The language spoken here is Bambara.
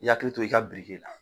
I yakili to i ka birike la